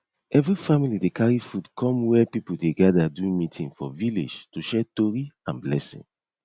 every family dey carry food come where people dey gather do meeting for villlage to share tori and blessing